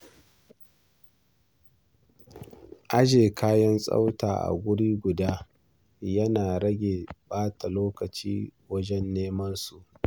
Ajiye kayan tsafta a wuri guda yana rage ɓata lokaci wajen neman su.